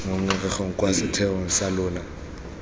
ngongorego kwa setheong sa lona